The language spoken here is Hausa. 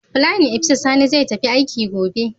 playin opisa Sani zai tafi aiki gobe.